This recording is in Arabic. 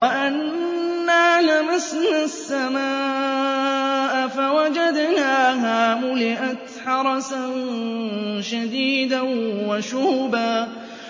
وَأَنَّا لَمَسْنَا السَّمَاءَ فَوَجَدْنَاهَا مُلِئَتْ حَرَسًا شَدِيدًا وَشُهُبًا